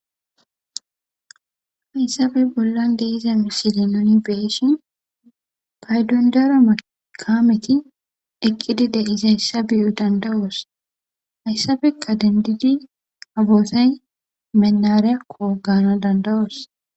hayssabe bollan deiza mishili noni beeshin paydon dar makameti eqqidi de iza hayssa biyu dandawoos hayssabekka dendidi haboosay mennare kogana dandawoos